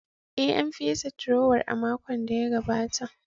Ee, An fesa durowar a makon da ya gabata.